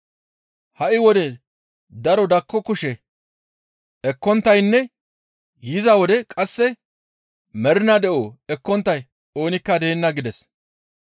ha7i wode daro dakko kushe ekkonttaynne yiza wode qasse mernaa de7o ekkonttay oonikka deenna» gides.